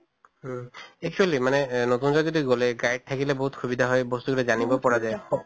উম actually মানে এহ নতুন যদি গʼলে guide থাকিলে বহুত সুবিধা হয় বস্তু জানিব পৰা যায়